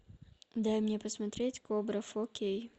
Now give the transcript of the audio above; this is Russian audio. дай мне посмотреть кобра фо кей